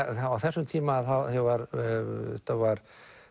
á þessum tíma ég var var